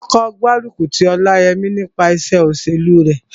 Wọn kò gbárùkù ti Ọláyẹmí nípa iṣẹ́ òṣèlú rẹ̀